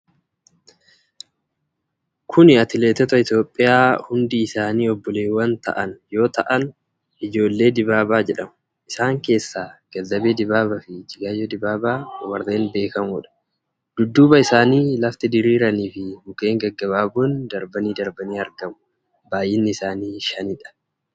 Kuni atileetota Itoophiyaa hundi isaanii obboleewwan ta'an yoo ta'an, ijoollee Dibaabaa jedhamu. Isaan keessaa Ganzabee Dibaabaa fi Ijjigaayyoo Dibaabaa warreen beekamoodha. Dudduuba isaanii lafti diriiraanii fi mukkeen gaggabaaboon darbanii darbanii argamu. Baay'inni isaanii shanidha.